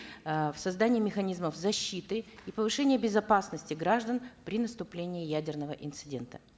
э в создании механизмов защиты и повышения безопасности граждан при наступлении ядерного инцидента